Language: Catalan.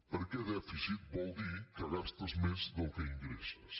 perquè dèficit vol dir que gastes més del que ingresses